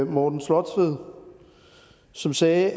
morten slotved som sagde